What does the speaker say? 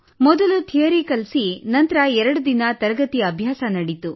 ಮೊದಲು ಥಿಯರಿ ಕಲಿಸಿ ನಂತರ ಎರಡು ದಿನ ತರಗತಿ ಅಭ್ಯಾಸ ನಡೆಯಿತು